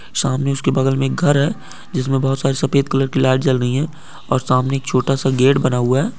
सामने उसके बगल में एक घर है जिसमें बहुत सारी सफ़ेद कलर की लाइट जल रही हैं और सामने एक छोटा-सा गेट बना हुआ है।